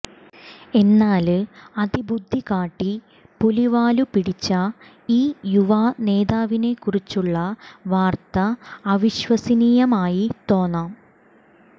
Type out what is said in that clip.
എന്നാല് അതിബുദ്ധി കാട്ടി പുലിവാലു പിടിച്ച ഈ യുവ നേതാവിനെക്കുറിച്ചുള്ള വാര്ത്ത അവിശ്വസനീയമായി തോന്നാം